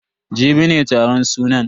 Jibi ne taron sunan.